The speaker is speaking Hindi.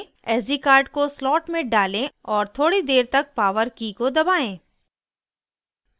sd कार्ड को slot में डालें और थोड़ी देर तक power की को दबाएं